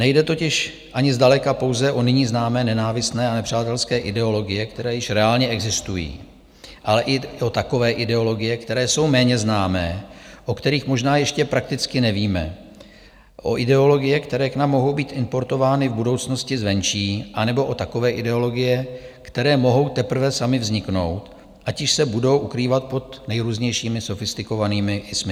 Nejde totiž ani zdaleka pouze o nyní známé nenávistné a nepřátelské ideologie, které již reálně existují, ale i o takové ideologie, které jsou méně známé, o kterých možná ještě prakticky nevíme, o ideologie, které k nám mohou být importovány v budoucnosti zvenčí, anebo o takové ideologie, které mohou teprve samy vzniknout, ať již se budou ukrývat pod nejrůznějšími sofistikovanými -ismy.